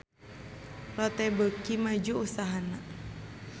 Lotte beuki maju usahana